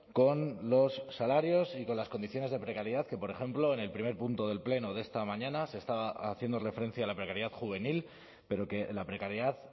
con los salarios y con las condiciones de precariedad que por ejemplo en el primer punto del pleno de esta mañana se estaba haciendo referencia a la precariedad juvenil pero que la precariedad